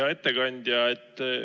Hea ettekandja!